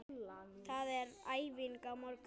Það er æfing á morgun.